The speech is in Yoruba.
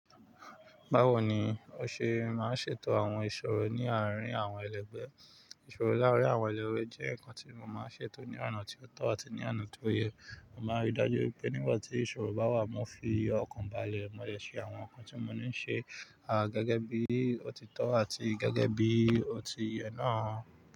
Báwo ni o ṣe máa ń ṣètò àwọn ìṣòro ní àárín àwọn ẹlẹgbẹ́? Ìṣòro lárín àwọn ẹlẹ́gbe jẹ́ nǹkan tí mo máa ń ṣètò ní oná tí ó tọ́ àti ní oná tí ó yẹ. Mo máa rí i dájú wípé nígbà tí ìṣòro bá wà, mo fi ọkàn balẹ̀ mọ́lẹ̀ se àwọn nǹkan tí mo ní ń ṣe, gẹ́gẹ́ bí ó ti tọ́ àti gẹ́gẹ́ bí ó ti yẹ náà.